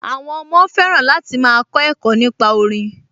Àwọn ọmọ fẹ́ràn láti máa kọ ẹ̀kọ́ nípa orin